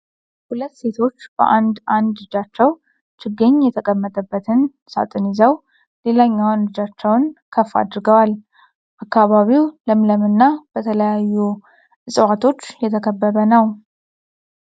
ሁለት ሴቶች በአንድ አንድ እጃቸው ችግኝ የተቀመጠበትን ሳጥን ይዘው ሌላኛው እጃቸውን ከፍ አድርገዋል። አካባቢው ለምለም እና በተለያዩ እጽዋቶች የተከበበ ነው።